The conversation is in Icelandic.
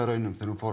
þegar hún fór